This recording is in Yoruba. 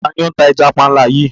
Tani o n tà ẹ̀já pànla yìí?